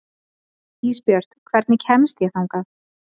Ísbjört, hvernig kemst ég þangað?